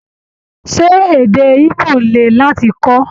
Ṣé èdè Igbo le láti kọ́?